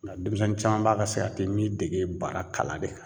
Nga denmisɛnnin caman ba ka mi dege baara kalan de kan.